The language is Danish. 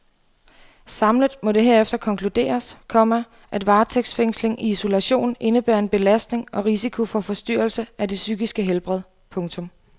Samlet må det herefter konkluderes, komma at varetægtsfængsling i isolation indebærer en belastning og risiko for forstyrrelse af det psykiske helbred. punktum